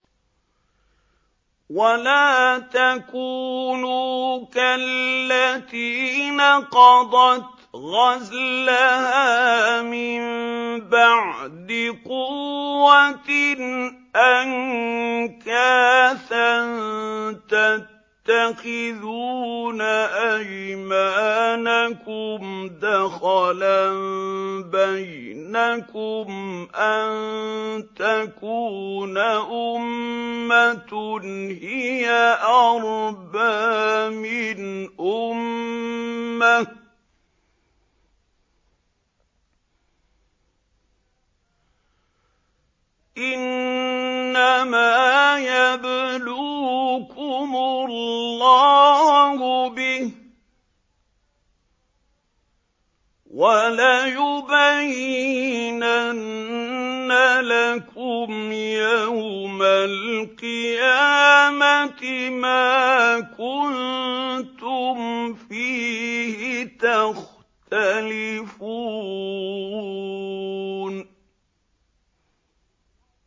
وَلَا تَكُونُوا كَالَّتِي نَقَضَتْ غَزْلَهَا مِن بَعْدِ قُوَّةٍ أَنكَاثًا تَتَّخِذُونَ أَيْمَانَكُمْ دَخَلًا بَيْنَكُمْ أَن تَكُونَ أُمَّةٌ هِيَ أَرْبَىٰ مِنْ أُمَّةٍ ۚ إِنَّمَا يَبْلُوكُمُ اللَّهُ بِهِ ۚ وَلَيُبَيِّنَنَّ لَكُمْ يَوْمَ الْقِيَامَةِ مَا كُنتُمْ فِيهِ تَخْتَلِفُونَ